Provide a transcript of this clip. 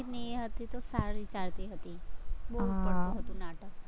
એ હતી તો સારી ચાલતી હતી, બોવ સરસ હતું નાટક